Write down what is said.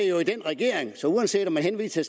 jo i regeringen så uanset om man henviser